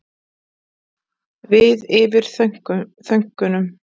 Við yfir þökunum.